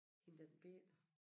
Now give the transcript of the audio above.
Hende den bette